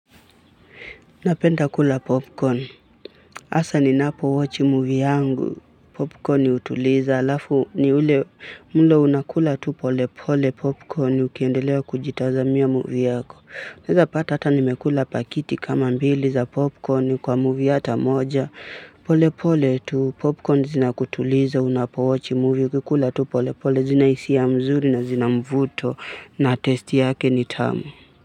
Napenda kula popcorn. Hasa ni napowochi movie yangu. Popcorn hutuliza. Halafu ni ule mlo unakula tu pole pole popcorn ukiendelea kujitazamia movie yako. Naweza pata hata nimekula pakiti kama mbili za popcorn kwa movie hata moja. Pole pole tu popcorn zina kutuliza unapowochi movie ukikula tu pole pole zina hisia mzuri na zina mvuto na testi yake ni tamu.